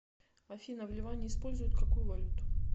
афина в ливане используют какую валюту